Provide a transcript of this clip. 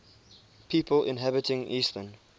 people inhabiting eastern